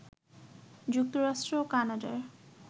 যুক্তরাষ্ট্র ও কানাডার